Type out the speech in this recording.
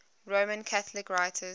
roman catholic writers